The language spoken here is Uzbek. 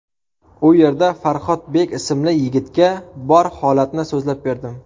U yerda Farhodbek ismli yigitga bor holatni so‘zlab berdim.